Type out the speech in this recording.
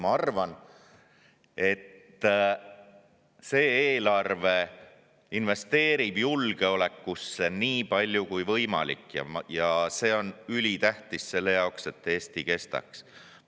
Ma arvan, et see eelarve investeerib julgeolekusse nii palju kui võimalik, ja see on ülitähtis selle jaoks, et Eesti kestaks.